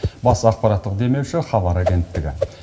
бас ақпараттық демеуші хабар агенттігі